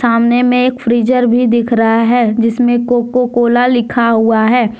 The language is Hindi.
सामने में फ्रीजर भी दिख रहा है जिसमें कोकोकोला लिखा हुआ है।